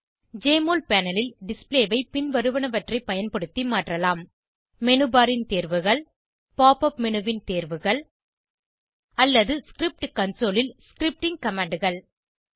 JMOL panel ல் display ஐ பின்வருவனவற்றை பயன்படுத்தி மாற்றலாம் மேனு பார் ன் தேர்வுகள் pop up மேனு ன் தேர்வுகள் அல்லது ஸ்கிரிப்ட் கன்சோல் ல் ஸ்கிரிப்டிங் commandகள்